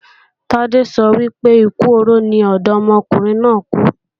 Tádé sọ wípé, ikú oró ni ọ̀dọ́mọkùnrin náà kú.